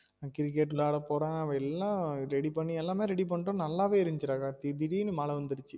cricket விளையாட போறன் அவன் எல்லாம் ready பண்ணி எல்லாமே ready பண்ணிட்டோம் நல்லாவே இருந்துச்சு டா கார்த்தி திடீர்னு மழ வந்துருச்சு